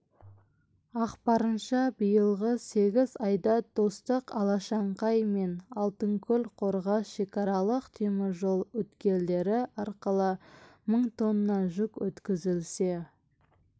ақпарынша биылғы сегіз айда достық алашаңқай мен алтынкөл-қорғас шекаралық теміржол өткелдері арқылы мың тонна жүк өткізілсе